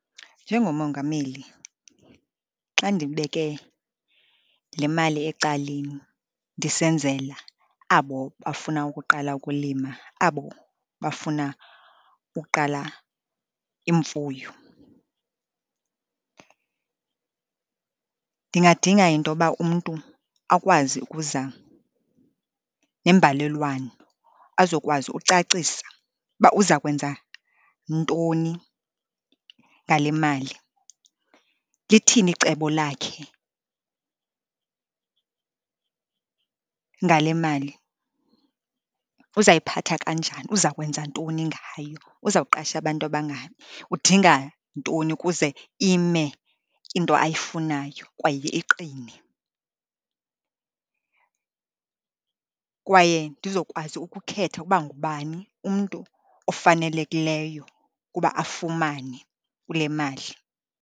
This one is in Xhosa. Njengomongameli, xa ndibeke le mali ecaleni ndisenzela abo bafuna ukuqala ukulima, abo bafuna ukuqala imfuyo, ndingadinga into yoba umntu akwazi ukuza nembalelwano, azokwazi ucacisa uba uza kwenza ntoni ngale mali, lithini icebo lakhe ngale mali. Uzayiphatha kanjani, uza kwenza ntoni ngayo, uzawuqasha abantu abangaphi? Udinga ntoni ukuze ime into ayifunayo kwaye iqine? Kwaye ndizokwazi ukukhetha ukuba ngubani umntu ofanelekileyo ukuba afumane kule mali